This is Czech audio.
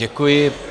Děkuji.